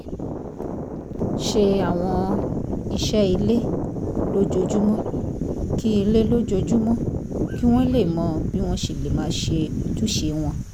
ṣe àwọn iṣẹ́ ilé lójoojúmọ́ kí ilé lójoojúmọ́ kí wọ́n lè mọ bí wọ́n ṣe lè máa ṣe ojúṣe wọn